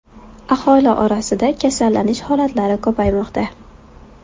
Aholi orasida kasallanish holatlari ko‘paymoqda.